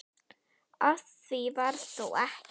Af því varð þó ekki.